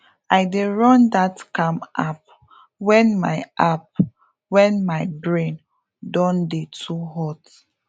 i dey run that calm app when my app when my brain don dey too hot